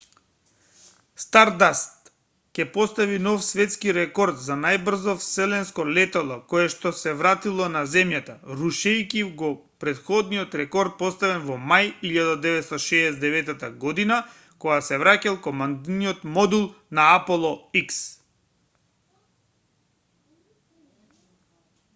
стардаст ќе постави нов светскирекорд за најбрзо вселенско летало коешто се вратило на земјата рушејќи го претходниот рекорд поставен во мај 1969 година кога се враќал командниот модул на аполо x